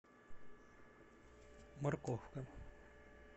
морковка